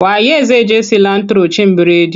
Wa ye zai je cilantro cin bredi?